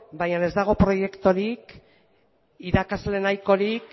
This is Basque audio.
baina ez dago proiekturik irakasle nahikorik